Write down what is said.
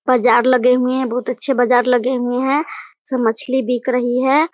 बाज़ार लगे हुए हैं बहुत अच्छे बाज़ार लगे हुए है सब मछली बिक रही है ।